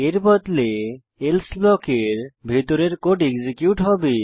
এর বদলে এলসে ব্লকের ভিতরের কোড এক্সিকিউট হবে